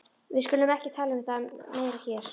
Við skulum ekki tala um það meira hér.